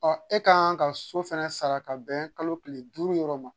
Ɔ e ka kan ka so fana sara ka bɛn kalo tile duuru yɔrɔ ma